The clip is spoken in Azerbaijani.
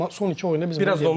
Amma son iki oyunda bizdə yoxdur.